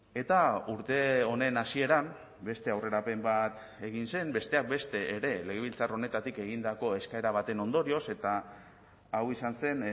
eta urte honen hasieran beste aurrerapen bat egin zen besteak beste ere legebiltzar honetatik egindako eskaera baten ondorioz eta hau izan zen